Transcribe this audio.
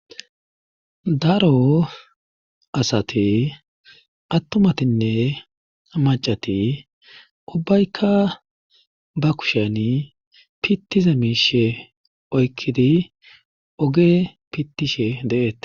daro asati attumatinne macati ubbaykka ba kusheni pittiza miishe oykkidi oge pittishe de'eetes